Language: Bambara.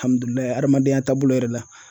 adamadenya taabolo yɛrɛ la.